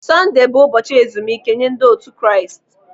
Sondee bụ ụbọchị ezumike nye ndị otu Kraịst.